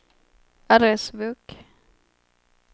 adressbok